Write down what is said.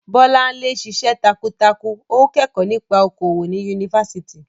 Bolanle ń ṣiṣẹ́ takuntakun, ó ń kẹ́kọ̀ọ́ nípa okòwò ní Yunifásítì.